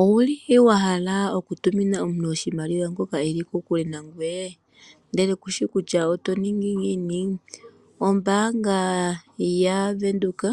Owu li wa hala okutumina oshimaliwa omuntu ngoka e li kokule nangoye ndele kushi kutya oto ningi ngiini? Ombanga yaVenduka